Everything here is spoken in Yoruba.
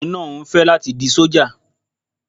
Ọkùnrin náà ń fẹ́ di sójà